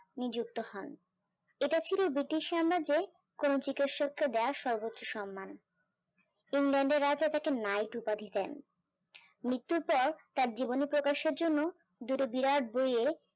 নিযুক্ত হন ইটা ছিল british সাম্রাজ্যের কোনো চিৎসক দেওয়া সর্বোচ্চ সন্মান ইংল্যান্ডের রাজা তাকে নাইট উপাধি দেন তাঁর জীবনে প্রকাশের জন্য